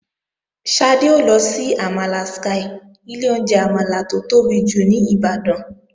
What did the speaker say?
Ṣadé ó lọ sí àmàlà Sky, ilé oúnjẹ àmàlà tó tóbi jù ní Ìbàdàn.